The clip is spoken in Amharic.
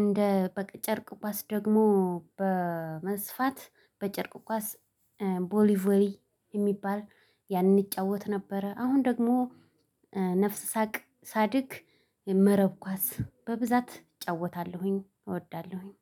እንደ በቃ ጨርቅ ኳስ ደግሞ በመስፋት በጨርቅ ኳስ ቦሊቮሊ የሚባል ያንን እንጫወት ነበረ። አሁን ደግሞ ነፍስ ሳቅ ሳድግ መረብ ኳስ በብዛት እጫወታለሁኝ። እወዳለሁኝ